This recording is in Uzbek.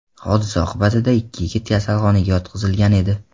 Hodisa oqibatida ikki yigit kasalxonaga yotqizilgan edi.